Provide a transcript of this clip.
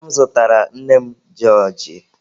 Nna m zụtara nne m jọọjị.